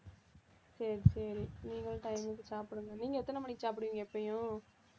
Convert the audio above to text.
சரி சரி நீங்களும் time க்கு சாப்பிடுங்க நீங்க எத்தனை மணிக்கு சாப்பிடுவீங்க எப்பயும்